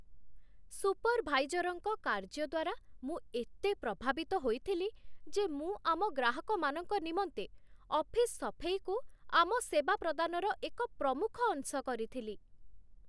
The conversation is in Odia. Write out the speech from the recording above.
ସୁପର୍‌ଭାଇଜର୍‌ଙ୍କ କାର୍ଯ୍ୟ ଦ୍ୱାରା ମୁଁ ଏତେ ପ୍ରଭାବିତ ହୋଇଥିଲି ଯେ ମୁଁ ଆମ ଗ୍ରାହକମାନଙ୍କ ନିମନ୍ତେ ଅଫିସ୍ ସଫେଇକୁ ଆମ ସେବା ପ୍ରଦାନର ଏକ ପ୍ରମୁଖ ଅଂଶ କରିଥିଲି